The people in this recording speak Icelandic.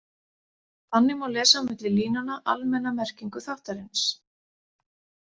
Þannig má lesa á milli línanna almenna merkingu þáttarins.